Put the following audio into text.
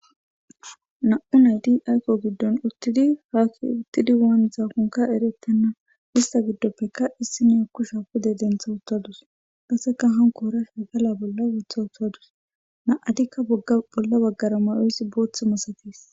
nam7u nayti ayko giddon uttidi haakki uttidi waan zaakonka eretenna ista giddoppeka issi neaku sha pude dentha uttadus qasseka hankoora sha gala bolla wotha uttadus na7adikka bolla baggara mayoys booth masatis